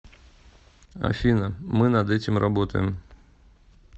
афина мы над этим работаем